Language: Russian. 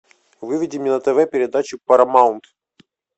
выведи мне на тв передачу парамаунт